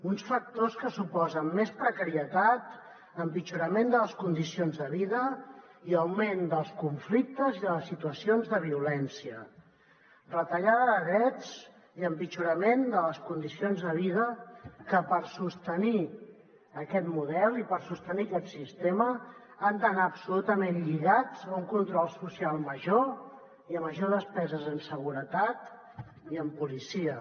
uns factors que suposen més precarietat empitjorament de les condicions de vida i augment dels conflictes i de les situacions de violència retallada de drets i empitjorament de les condicions de vida que per sostenir aquest model i per sostenir aquest sistema han d’anar absolutament lligats a un control social major i a major despesa en seguretat i en policia